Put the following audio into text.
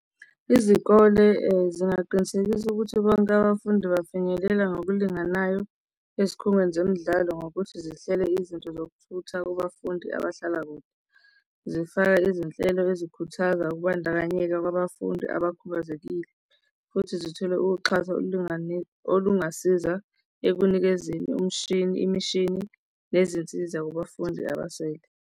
Izikole zingaqinisekisa ukuthi bonke abafundi bafinyelela ngokulinganayo ezikhungweni zemidlalo ngokuthi zihlele izinto zokuthutha kubafundi abahlala kude. Zifaka ezinhelo ezikhuthaza ukubandakanyeka kwabafundi abakhubazekile, futhi zithole ukuxhasa olungasiza ekunikezeni umshini, imishini nezinsiza kubafundi abasele.